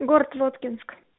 город лодкинск